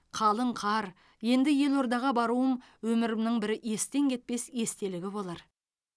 қалың қар енді елордаға баруым өмірімнің бір естен кетпес естелігі болар